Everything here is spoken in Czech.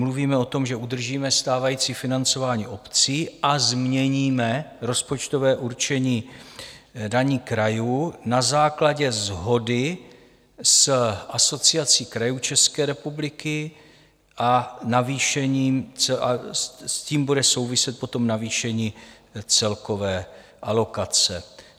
Mluvíme o tom, že udržíme stávající financování obcí a změníme rozpočtové určení daní krajů na základě shody s Asociací krajů České republiky a s tím bude souviset potom navýšení celkové alokace.